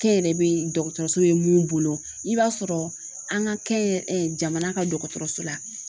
Kɛnyɛrɛ be dɔgɔtɔrɔso be mun bolo i b'a sɔrɔ an ka kɛnyɛrɛ, jamana ka dɔgɔtɔrɔso la